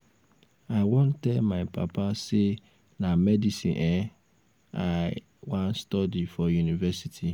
i wan tell um my papa say na medicine um i um um wan study for university